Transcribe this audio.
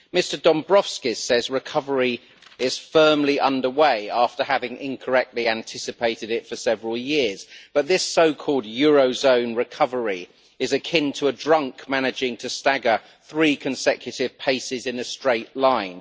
Mr Dombrovskis says recovery is firmly under way, after having incorrectly anticipated it for several years, but this so called eurozone recovery is akin to a drunk managing to stagger three consecutive paces in a straight line.